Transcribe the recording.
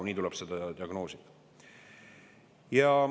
Paraku tuleb seda nii diagnoosida.